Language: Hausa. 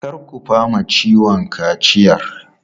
Kar ku fama ciwon kaciyar!